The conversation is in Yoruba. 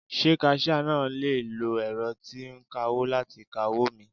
Ṣé kaṣíá náà le lo ẹ̀rọ tí ń kawó láti ka owó mi.